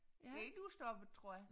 Ikke udstoppet tror jeg